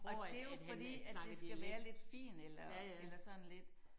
Og det jo fordi at det skal være lidt fint eller eller sådan lidt